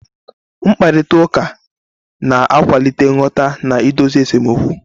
Mkparịta ụka na-akwalite nghọta na idozi esemokwu.